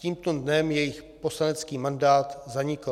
Tímto dnem jejich poslanecký mandát zanikl.